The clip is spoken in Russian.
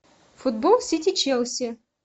футбол сити челси